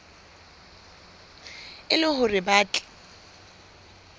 e le hore ba tle